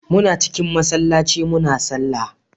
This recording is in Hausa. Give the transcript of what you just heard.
Muna cikin masallaci muna sallah